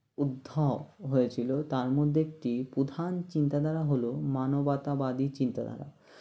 উদ্ধব হয়েছিল তার মধ্যে একটি প্রধান চিন্তাধারা হলো মানবতাবাদী চিন্তাধারা